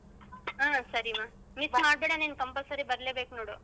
ಹಾ ಸರಿಮಾ miss ಮಾಡ್ಬೇಡಿ compulsory ಬರ್ಲೇಬೇಕು ನೋಡು.